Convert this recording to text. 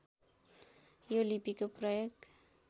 यो लिपिको प्रयोग